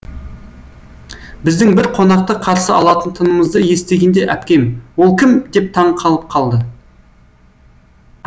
біздің бір қонақты қарсы алатынымызды естігенде әпкем ол кім деп таң қалып қалды